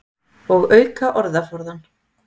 Og auka orðaforðann.